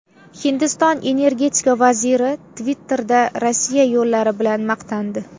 Hindiston energetika vaziri Twitter’da Rossiya yo‘llari bilan maqtandi.